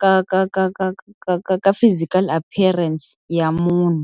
ka ka ka ka ka ka ka ka physical appearance ya munhu.